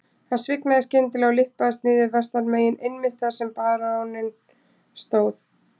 Hann svignaði skyndilega og lyppaðist niður vestanmegin einmitt þar sem baróninn stóð.